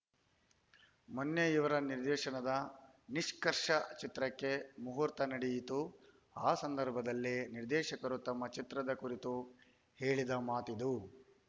ಮೊನ್ನೆ ಇವರ ನಿರ್ದೇಶನದ ನಿಷ್ಕರ್ಷ ಚಿತ್ರಕ್ಕೆ ಮುಹೂರ್ತ ನಡೆಯಿತು ಆ ಸಂದರ್ಭದಲ್ಲಿ ನಿರ್ದೇಶಕರು ತಮ್ಮ ಚಿತ್ರದ ಕುರಿತು ಹೇಳಿದ ಮಾತಿದು